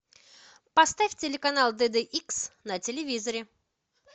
поставь телеканал дд икс на телевизоре